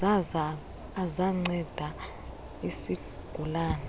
zaza azanceda isigulane